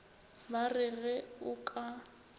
ba re ge o ka